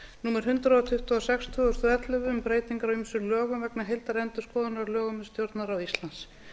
númer hundrað tuttugu og sex tvö þúsund og ellefu um breytingar á ýmsum lögum vegna heildarendurskoðunar á lögum um stjórnarráð íslands